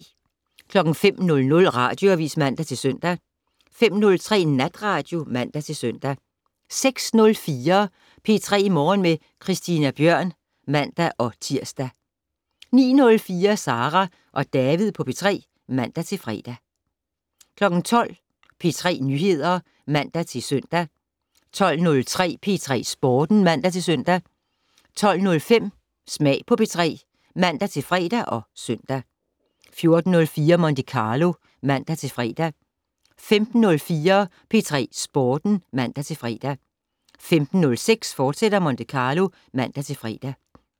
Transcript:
05:00: Radioavis (man-søn) 05:03: Natradio (man-søn) 06:04: P3 Morgen med Christina Bjørn (man-tir) 09:04: Sara og David på P3 (man-fre) 12:00: P3 Nyheder (man-søn) 12:03: P3 Sporten (man-søn) 12:05: Smag på P3 (man-fre og søn) 14:04: Monte Carlo (man-fre) 15:04: P3 Sporten (man-fre) 15:06: Monte Carlo, fortsat (man-fre)